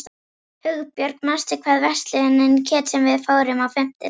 Hugbjörg, manstu hvað verslunin hét sem við fórum í á fimmtudaginn?